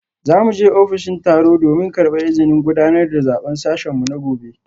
Za mu je ofishin tsaro domin karbar izinin gudanar da zaben sashen mu na gobe